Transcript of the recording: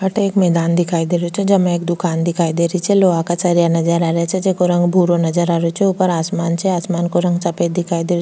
अठे एक मैदान दिखाई दे रहियो छे जेमे एक दुकान दिखाई दे रही छे लोहा का सरिया नजर आ रिया छे जेको रंग भूरो नजर आ रियो छे ऊपर आसमान छे आसमान को रंग सफ़ेद दिखाई दे --